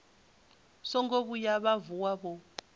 songo vhuya vha vuwa vho